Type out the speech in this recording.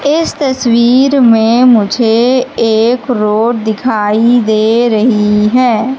इस तस्वीर में मुझे एक रोड दिखाई दे रही हैं।